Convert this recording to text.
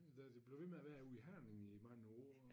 Da det blev ved med at være ude i Herning i mange år